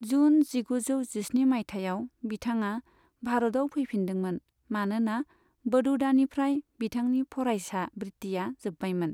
जुन जिगुजौ जिस्नि मायथाइयाव, बिथाङा भारतआव फैफिनदोंमोन मानोना बड़ौदानिफ्राय बिथांनि फरायसा वृत्तिआ जोब्बायमोन।